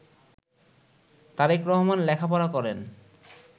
তারেক রহমান লেখাপড়া করেন